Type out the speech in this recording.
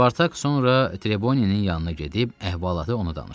Spartak sonra Treboninin yanına gedib əhvalatı ona danışdı.